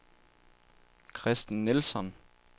Kristen Nilsson